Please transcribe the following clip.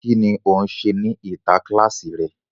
Ki ni o n ṣe ni ita kílàsì rẹ?